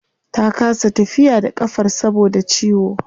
Ta kasa tafiya da kafar saboda ciwo